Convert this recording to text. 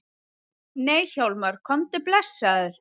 Nei Hjálmar, komdu blessaður!